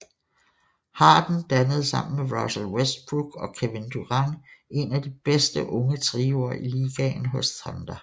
Harden dannede sammen med Russell Westbrook og Kevin Durant en af de bedste unge trioer i ligaen hos Thunder